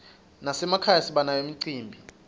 nasemakhaya sibanayo imicimbi